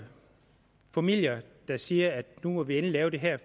familier der siger at nu må vi endelig lave det her